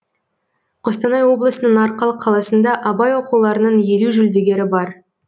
қостанай облысының арқалық қаласында абай оқуларының елу жүлдегері бар